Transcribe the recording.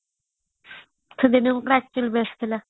ସେ ଦିନ ଗୁରା actually best ଥିଲା